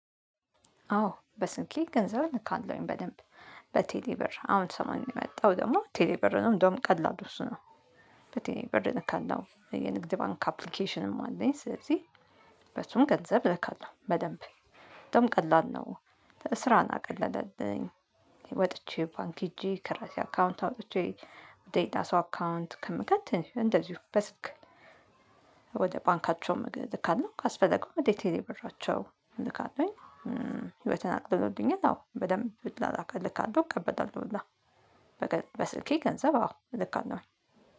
አዎ በስልኬ ገንዘብ እልካለውኝ በደንብ በቴሌ ብር አሁን ሰሞኑን የመጣው ደግሞ ቴሌ ብር ነው እንዳውም ቀላል እሱ ነው። በቴሌ ብር እልካለሁ የንግድ ባንክ አፕልኬሽንም አለኝ ስለዚህ። በሱም ገንዘብ እልካለሁ በደንብ በጣም ቀላል ነው። ስራን አቀለለልኝ ወጥቼ ባንክ ሄጄ ከራሴ አካውንት አውጥቼ ወደ ሌላ ሰው አካውንት ከምከት እንደዚሁ በስልክ። ወደ ባንካቸውም እልካለው ካስፈለገ ወደ ቴሌ ብራቸው እልካለውኝ በተናበበ ቅኝት አዎ በደንብ ብላል እልካለው እቀበጣለሁ ሁላ። በስልኬ ገንዘብ አዎ እልካለሁኝ